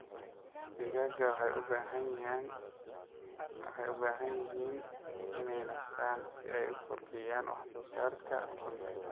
Digaaga waxay u baahan yihiin inay nastaan ??si ay u kordhiyaan wax soo saarka ukunta.